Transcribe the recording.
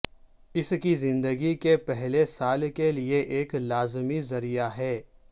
اس کی زندگی کے پہلے سال کے لئے ایک لازمی ذریعہ ہے